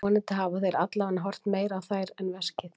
Vonandi hafa þeir allavega horft meira á þær en veskið.